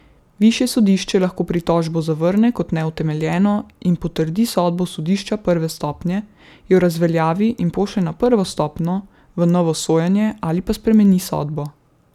Višje sodišče lahko pritožbo zavrne kot neutemeljeno in potrdi sodbo sodišča prve stopnje, jo razveljavi in pošlje na prvo stopnjo v novo sojenje ali pa spremeni sodbo.